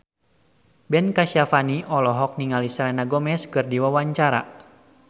Ben Kasyafani olohok ningali Selena Gomez keur diwawancara